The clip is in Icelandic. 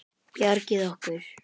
Bjargið okkur!